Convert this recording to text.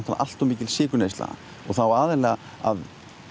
allt of mikil sykurneysla og þá aðallega af